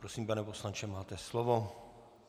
Prosím, pane poslanče, máte slovo.